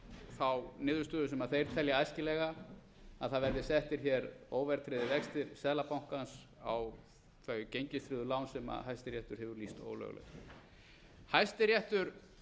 þá niðurstöðu sem þeir telja æskilega að það verði settir hér óverðtryggðir vextir seðlabankans á þau gengistryggðu lán sem hæstiréttur hefur lýst ólögleg hæstiréttur